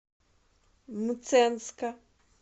мценска